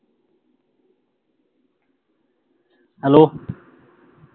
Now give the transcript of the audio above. hello